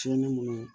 Fiɲɛnni minnu